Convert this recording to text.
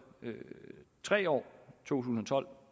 tre år to tusind og tolv